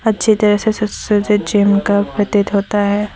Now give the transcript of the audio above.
जिधर से सुसज्जित जिम का प्रतीक होता है।